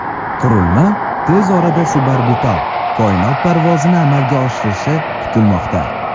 Qurilma tez orada suborbital koinot parvozini amalga oshirishi kutilmoqda.